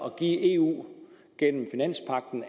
at give eu